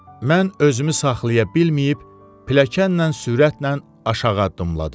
Mən özümü saxlaya bilməyib pilləkənlə sürətlə aşağı addımladım.